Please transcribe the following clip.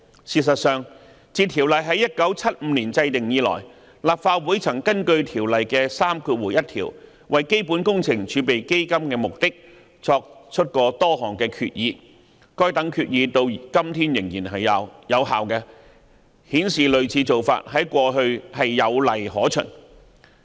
事實上，自《條例》在1975年制定以來，立法會曾根據《條例》第31條為基本工程儲備基金的目的作出多項決議，而該等決議至今仍然有效，顯示類似做法有往例可循。